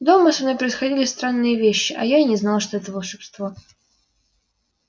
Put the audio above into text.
дома со мной происходили странные вещи а я и не знал что это волшебство